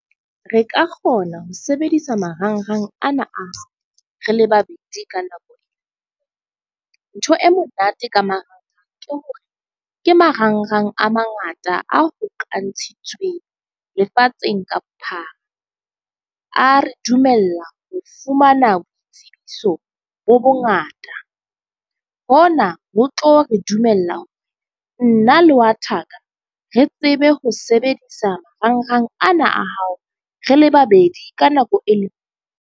Re ka kgona ho sebedisa marangrang ana a hao re le babedi ka nako. Ntho e monate ka marangrang ke hore ke marangrang a mangata a hokanshitsweng lefatsheng ka bophara. A re dumella ho fumana boitsebiso bo bo ngata. Ho na ho tlo re dumella hore nna le wa thaka re tsebe ho sebedisa marangrang ana a hao re le babedi ka nako e le .